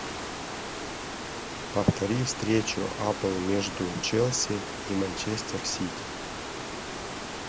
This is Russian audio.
повтори встречу апл между челси и манчестер сити